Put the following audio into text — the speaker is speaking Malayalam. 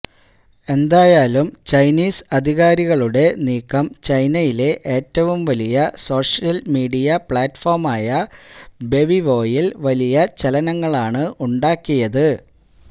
എന്തായാലും ചൈനീസ് അധികാരികളുടെ നീക്കം ചൈനയിലെ ഏറ്റവും വലിയ സോഷ്യല് മീഡിയ പ്ലാറ്റ്ഫോമായ വെബിവോയില് വലിയ ചലനങ്ങളാണ് ഉണ്ടാക്കിയത്